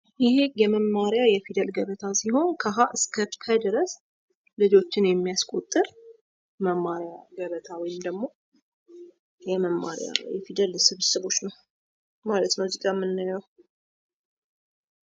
ይህ የመማሪያ ገበታ ሲሆን ከ ሀ እስከ ፐ ድረስ ልጆችን የሚያስቆጥር የመማሪያ ገበታ ወይም የፊደል ስብስቦች ነው።